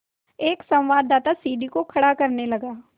एक संवाददाता सीढ़ी को खड़ा करने लगा